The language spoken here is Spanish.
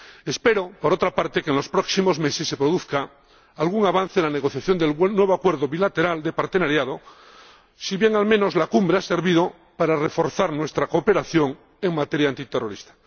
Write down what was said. Espero, por otra parte, que en los próximos meses se produzca algún avance en la negociación del nuevo Acuerdo de Asociación bilateral, si bien, al menos, la Cumbre ha servido para reforzar nuestra cooperación en materia antiterrorista.